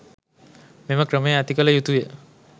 මෙම ක්‍රමය ඇති කළ යුතුය.